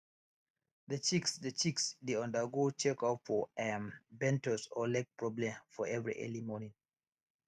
the chicks the chicks dey undergo check up for um bent toes or leg problem for every early morning